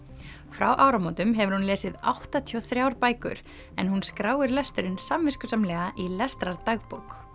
frá áramótum hefur hún lesið áttatíu og þrjár bækur en hún skráir lesturinn samviskusamlega í